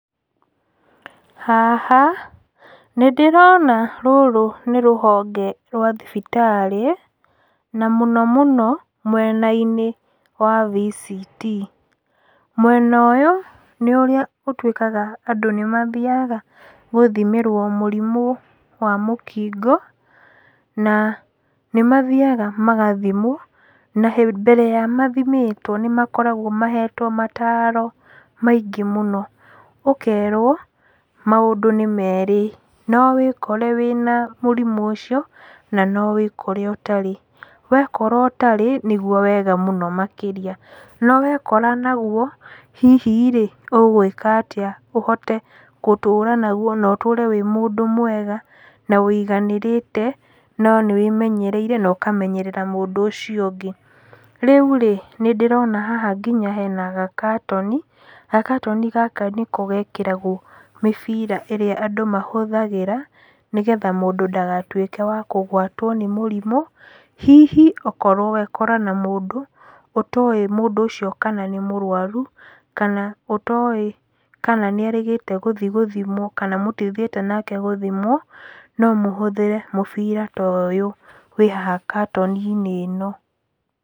Haha nĩ ndĩrona rũrũ nĩ rũhonge rwa thibitarĩ na mũno mũno mwena-inĩ wa VCT. Mwena ũyũ nĩ ũrĩa ũtuĩkaga andũ nĩ mathiaga gũthimĩrwo mũrimu wa mũkingo, na nĩ mathiaga magathimwo, na mbere ya mathimĩtwo nĩ makoragwo mahetwo mataro maingĩ mũno, ũkerwo maũndũ nĩ merĩ, no wĩkore wĩna mũrimũ ũcio na no wĩkore ũtarĩ. Wekora ũtarĩ nĩguo wega mũno makĩria, no wekora naguo, hihi-rĩ, ũgwĩka atĩa ũhote gũtũra naguo na ũtũre wĩ mũndũ mwega na ũiganĩrĩte no nĩ wĩmenyereire na ũkamenyerera mũndũ ũcio ũngĩ? Rĩurĩ, nĩ ndĩrona haha nginya hena gakatoni, gakatoni gaka nĩko gekagĩrwo mĩbira ĩrĩa andũ mahũthagĩra, nĩgetha mũndũ ndagatuĩke wa kũgwatwo nĩ mũrimũ hihi okorwo wekora na mũndũ ũtowĩ mũndũ ũcio kana nĩ mũrwaru, kana ũtowĩ kana nĩ erĩgĩte gũthi gũthimwo, kana mũtithiĩte nake gũthimwo, no mũhũthĩre mũbira ta ũyũ wĩ haha katoni-inĩ ĩno.